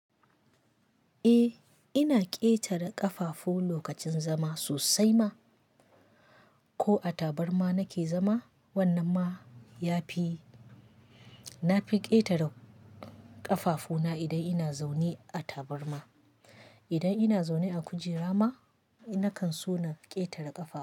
Eh, ina ƙetara ƙafafu lokacin zama sosai ma. Ko a tabarma nake zama, wannan ma ya fi. Na fi ƙetare ƙafafuna idan ina zaune a tabarma. Idan ina zaune a kujera ma, nakan so na ƙetare ƙafafu.